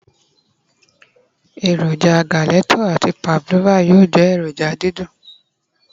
eroja gelato ati pavlova yíò je eroja didun